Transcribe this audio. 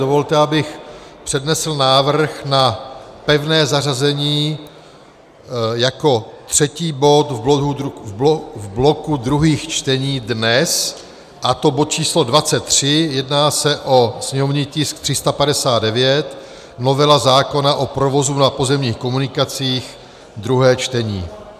Dovolte, abych přednesl návrh na pevné zařazení jako třetí bod v bloku druhých čtení dnes, a to bod číslo 23, jedná se o sněmovní tisk 359 - novela zákona o provozu na pozemních komunikacích, druhé čtení.